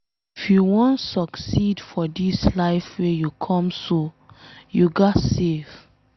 If you wan succeed for dis life wey you come so, you ghas save